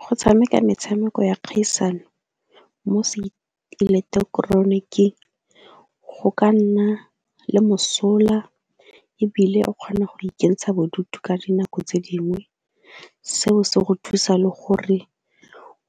Go tshameka metshameko ya kgaisano mo seeleketeroniking go ka nna le mosola ebile o kgona go ikentsha bodutu ka dinako tse dingwe, seo se go thusa le gore